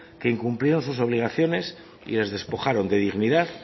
que incumplieron sus obligaciones y les despojaron de dignidad